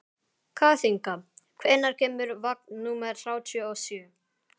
Kathinka, hvenær kemur vagn númer þrjátíu og sjö?